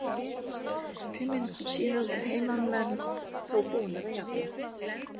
Fimm mínútum síðar voru heimamenn þó búnir að jafna.